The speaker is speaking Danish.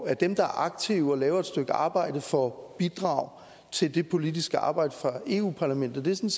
at dem der er aktive og laver et stykke arbejde får bidrag til det politiske arbejde fra eu parlamentet det